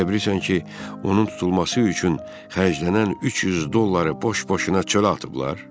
Elə bilirsən ki, onun tutulması üçün xərclənən 300 dolları boş-boşuna çölə atıblar?